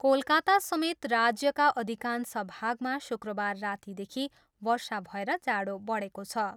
कोलकातासमेत राज्यका अधिकांश भागमा शुक्रबार रातिदेखि वर्षा भएर जाडो बढेको छ।